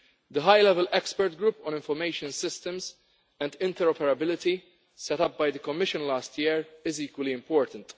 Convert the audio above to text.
The high-level expert group on information systems and interoperability set up by the Commission last year is equally important.